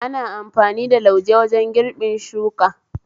Ana amfani da lauje wajen girbin shuka